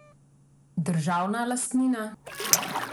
Državna lastnina?